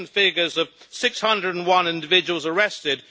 Recent figures of 601 individuals arrested